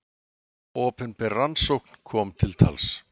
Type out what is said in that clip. Opinber rannsókn kom til tals.